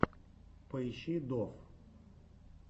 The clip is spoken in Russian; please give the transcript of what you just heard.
поищи доф